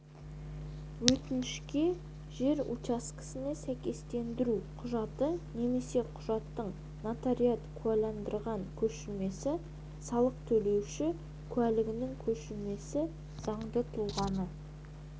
өтінішке жер учаскесіне сәйкестендіру құжатты немесе құжаттың нотариат куәландырған көшірмесі салық төлеуші куәлігінің көшірмесі заңды тұлғаны